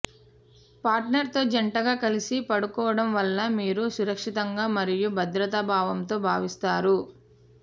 partner తో జంటగా కలిసి పడుకోవడం వల్ల మీరు సురక్షితంగా మరియు భద్రతాభావంతో భావిస్తారు